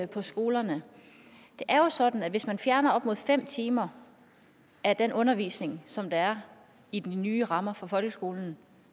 på skolerne det er jo sådan at hvis man fjerner op mod fem timer af den undervisning som der er i de nye rammer for folkeskolen